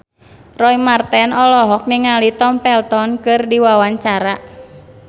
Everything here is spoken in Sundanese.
Roy Marten olohok ningali Tom Felton keur diwawancara